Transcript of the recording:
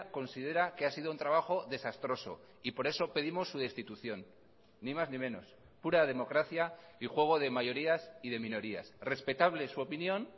considera que ha sido un trabajo desastroso y por eso pedimos su destitución ni más ni menos pura democracia y juego de mayorías y de minorías respetable su opinión